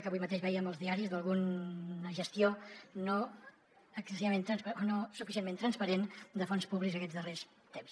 que avui mateix vèiem als diaris alguna gestió no excessivament transparent o no suficientment transparent de fons públics aquests darrers temps